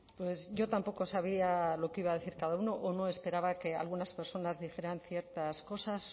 pues yo tampoco sabía lo que iba a decir cada uno o no esperaba que algunas personas dijeran ciertas cosas